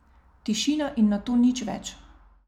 Tišina in nato nič več.